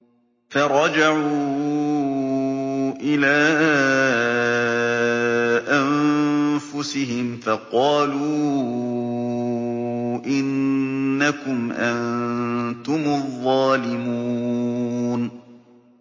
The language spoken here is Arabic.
فَرَجَعُوا إِلَىٰ أَنفُسِهِمْ فَقَالُوا إِنَّكُمْ أَنتُمُ الظَّالِمُونَ